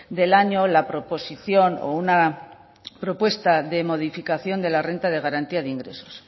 del año la proposición o una propuesta de modificación de la renta de garantía de ingresos